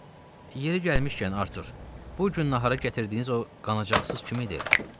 Hə, yeri gəlmişkən Artur, bu gün nahara gətirdiyiniz o qanacaqsız kim idi?